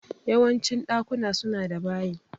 Yawancin ɗakuna suna da bayi